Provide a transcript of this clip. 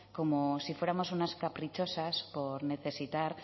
como si fuéramos unas caprichosas por necesitar